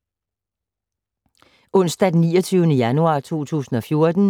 Onsdag d. 29. januar 2014